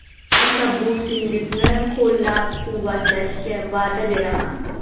Tashabbusingizni qo‘llab-quvvatlashga va’da beraman.